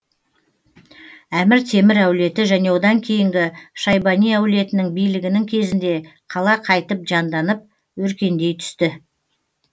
әмір темір әулеті және одан кейінгі шайбани әулетінің билігінің кезінде қала қайтіп жанданып өркендей түсті